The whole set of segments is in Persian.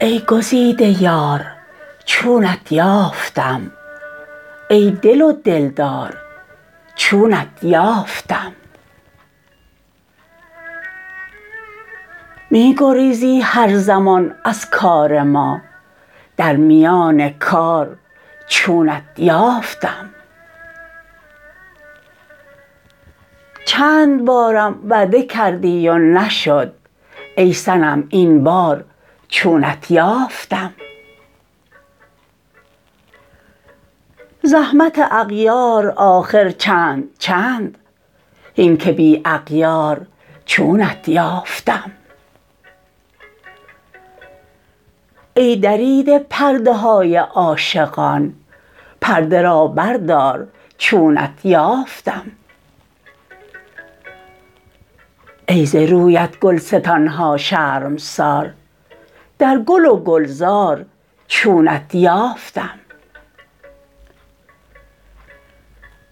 ای گزیده یار چونت یافتم ای دل و دلدار چونت یافتم می گریزی هر زمان از کار ما در میان کار چونت یافتم چند بارم وعده کردی و نشد ای صنم این بار چونت یافتم زحمت اغیار آخر چند چند هین که بی اغیار چونت یافتم ای دریده پرده های عاشقان پرده را بردار چونت یافتم ای ز رویت گلستان ها شرمسار در گل و گلزار چونت یافتم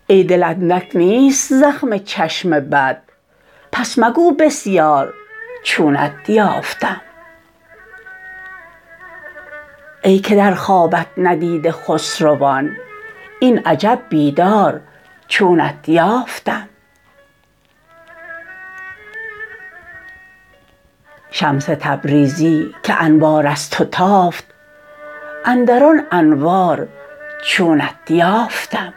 ای دل اندک نیست زخم چشم بد پس مگو بسیار چونت یافتم ای که در خوابت ندیده خسروان این عجب بیدار چونت یافتم شمس تبریزی که انوار از تو تافت اندر آن انوار چونت یافتم